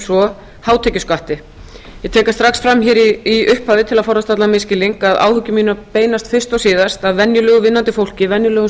svo hátekjuskatti ég tek strax fram hér í upphafi til að forðast allan misskilning að áhyggjur mínar beinast fyrst og síðast að venjulegu vinnandi fólki venjulegum